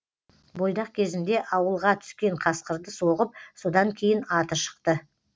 бойдақ кезінде ауылға түскен қасқырды соғып содан кейін аты шықты